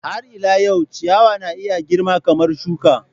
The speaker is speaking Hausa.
Har ila yau, ciyawa na iya girma kamar shuka.